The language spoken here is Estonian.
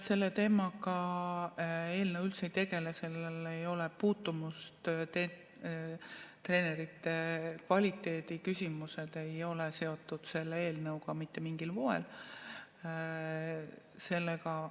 Selle teemaga eelnõu üldse ei tegele, sellel ei ole sellega puutumust, treenerite kvaliteedi küsimused ei ole mitte mingil moel seotud selle eelnõuga.